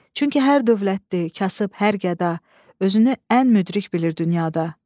Çünki hər dövlətli, kasıb, hər qəda özünü ən müdrik bilir dünyada.